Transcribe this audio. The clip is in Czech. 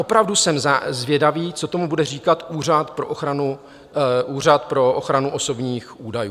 Opravdu jsem zvědavý, co tomu bude říkat Úřad pro ochranu osobních údajů.